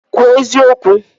Kwuo eziokwu!